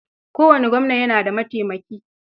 Kowane gwamna yana da mataimaki.